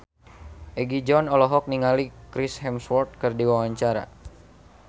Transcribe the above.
Egi John olohok ningali Chris Hemsworth keur diwawancara